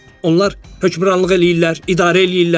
Onlar hökmranlıq eləyirlər, idarə eləyirlər.